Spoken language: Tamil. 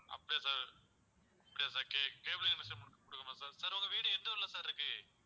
அப்படியா sir அப்படியா sir ca~ cable connection கொடுக்கணுமா sir sir உங்க வீடு எந்த ஊர்ல sir இருக்கு?